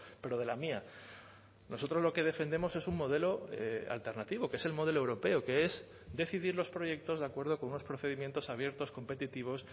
pero de la mía nosotros lo que defendemos es un modelo alternativo que es el modelo europeo que es decidir los proyectos de acuerdo con unos procedimientos abiertos competitivos